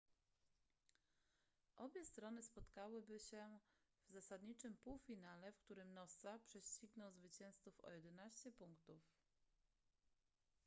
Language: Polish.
obie strony spotkałyby się w zasadniczym półfinale w którym noosa prześcignął zwycięzców o 11 punktów